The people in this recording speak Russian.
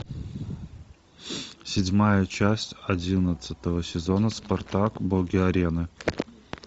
седьмая часть одиннадцатого сезона спартак боги арены